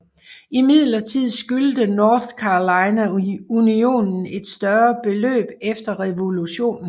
Imidlertid skyldte North Carolina unionen et større beløb efter revolutionen